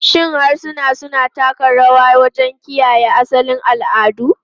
Shin harsuna suna taka rawa wajen kiyaye asalin al'adu?